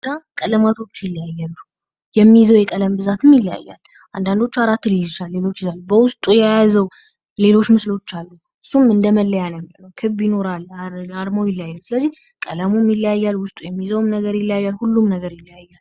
ቀለማቶቹ ይለያያሉ የሚይዘው የቀለም ብዛትም ይለያያል። አንዳዶቹ አራት ሊይዙ ይችላሉ በውስጡ የያዘው ሌሎቹ ምስሎች አሉ። እሱም እንደመለያ ነው የሚሆነው። ክብ ይኖራል አርማው ይለያያል። ስለዚህ ቀለሙም ይለያያል ውስጡ የሚይዘው ነገርም ይለያያል እና ሁሉም ነገር ይለያያል።